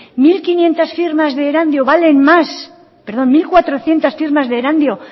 mil cuatrocientos firmas de erandio